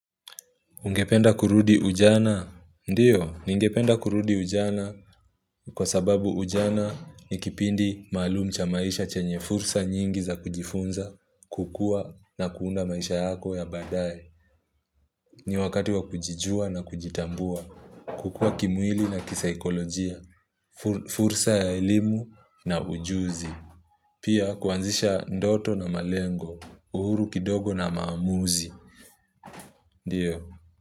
Ungependa kurudi ujana? Ndiyo, ningependa kurudi ujana kwa sababu ujana ni kipindi maalum cha maisha chenye fursa nyingi za kujifunza, kukua na kuunda maisha yako ya baadaye. Ni wakati wa kujijua na kujitambua, kukua kimwili na kisaikolojia, fur fursa ya elimu na ujuzi. Pia kuanzisha ndoto na malengo, uhuru kidogo na maamuzi. Ndiyo.